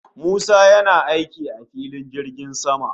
Musa yana aiki a filin jirgin sama